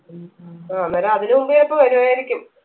ആ അന്നേരം അതിന് മുമ്പ് ചിലപ്പോ വരുവായിരിക്കും